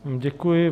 Děkuji.